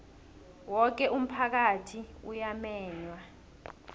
woke umphakathi uyamenywa